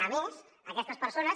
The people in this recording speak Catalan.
a més aquestes persones